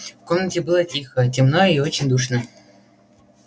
в комнате было тихо темно и очень душно